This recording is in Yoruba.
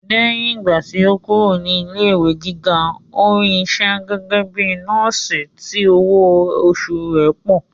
Lẹ́yìn ìgbà tí ó kúrò ní ilé ìwé gíga, ó rí isẹ́ gẹ́gẹ́ bíi nọ́ọ̀sì tí owó oṣù rẹ̀ pọ̀